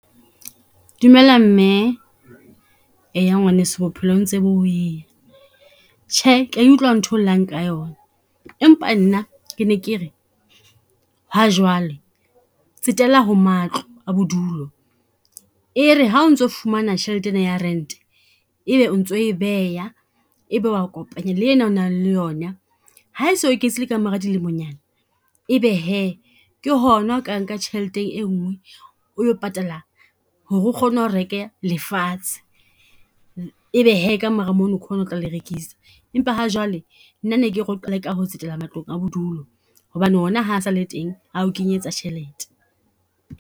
Dumela mme, eya ngwaneso bophelo ntse bo . Tjhe ke ya e utlwa ntho llang ka yona, empa nna ke ne ke re ha jwale tsetela ho matlo a bodulo. E re ha o ntso fumana tjhelete ena ya rent-e, ebe o ntso e beha ebe o a kopanya le ena o nang le yona. Ha se eketsehile ka mora dilemonyana, ebe hee ke hona o ka nka tjheleteng e ngwe, o yo patala ho re o kgone ho reke lefatshe. Ebe hee ka mora mono ke hona o tla le rekisa. Empa ha jwale nna ne ke re o qale ka ho tsetela matlong a bodulo, hobane ona ha sale teng a o kenyetsa tjhelete.